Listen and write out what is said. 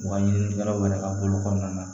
U ka ɲininikɛlaw yɛrɛ ka bolo kɔnɔna na